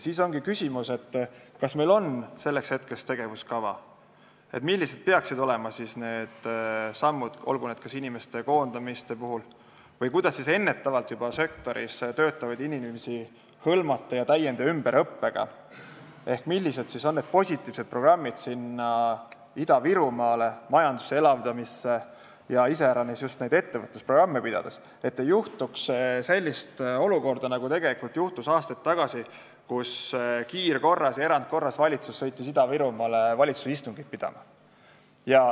Siis ongi küsimus, kas meil on selleks hetkeks olemas tegevuskava, et oleks selge, millised peaksid olema sammud koondamiste puhul või kuidas sektoris töötavaid inimesi ennetavalt hõlmata täiendus- ja ümberõppega ehk millised on positiivsed programmid Ida-Virumaa majanduse elavdamist ja iseäranis just ettevõtlusprogramme silmas pidades, et ei tekiks sellist olukorda, nagu tegelikult aastaid tagasi, kui valitsus sõitis kiirkorras ja erandkorras Ida-Virumaale valitsuse istungit pidama.